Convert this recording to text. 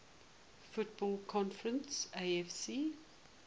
football conference afc